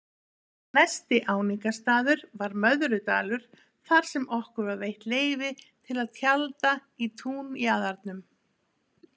Næsti áningarstaður var Möðrudalur þarsem okkur var veitt leyfi til að tjalda í túnjaðrinum.